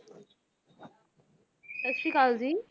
ਸਤਿ ਸ੍ਰੀ ਅਕਾਲ ਜੀ